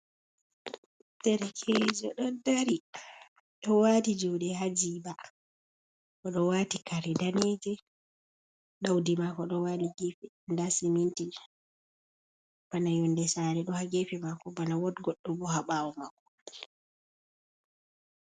Derekeejo ɗon dari ɗo waati juuɗe haa jiiba. O ɗo waati kare daneejum, ɗawdi maako ɗo waali ,geefe ndaa siminti ,bana yonnde saare ɗo haa geefe maako, bana wot goɗɗo bo, haa ɓaawo maako.